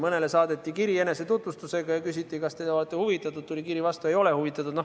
Mõnele saadeti kiri enesetutvustusega ja küsiti, kas te olete huvitatud, tuli kiri vastu, ei ole huvitatud.